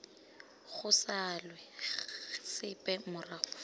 go salwe sepe morago fa